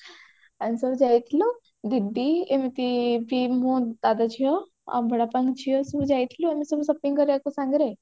ଆମେ ସବୁ ଯାଇଥିଲୁ ଦିଦି ଏମିତି ଦି ମୁଁ ଦାଦା ଝିଅ ଆଉ ବଡବାପାଙ୍କ ଝିଅ ଏମିତି ସବୁ ଯାଇଥିଲୁ ଆମେ ସବୁ shopping କରିବାକୁ ସାଙ୍ଗରେ